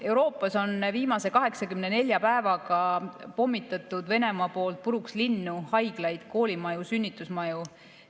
Venemaa on viimase 84 päevaga pommitanud puruks Euroopa linnu, haiglaid, koolimaju, sünnitusmaju.